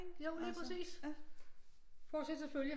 Jo lige præcis ikke fortsættelse følger